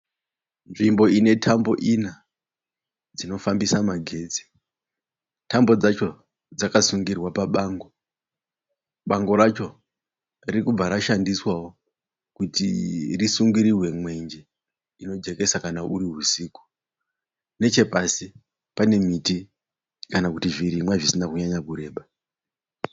Nzvimbo ine tambo ina dzinofambisa magetsi. Tambo dzacho dzakasungirwa pabango. Bango racho ririkubva rashandiswawo kuti risungirirwe mwenje inojekesa kana kuri husiku. Nechepasi pane miti kana kuti zvirimwa zvisina kunyanyoreba.